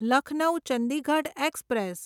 Lucknow Chandigarh express